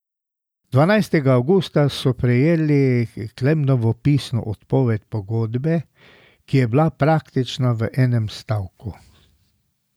Dvanajstega avgusta so prejeli Klemnovo pisno odpoved pogodbe, ki je bila praktično v enem stavku.